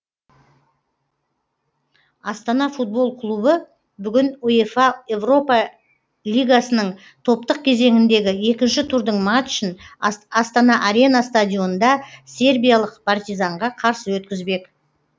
астана футбол клубы бүгін уефа еуропа лигасының топтық кезеңіндегі екінші турдың матчын астана арена стадионында сербиялық партизанға қарсы өткізбек